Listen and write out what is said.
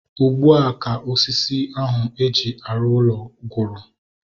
Ugbua ka osisi ahu eji arụ ụlọ gwụrụ